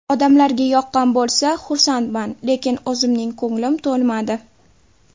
Odamlarga yoqqan bo‘lsa, xursandman, lekin o‘zimning ko‘nglim to‘lmadi.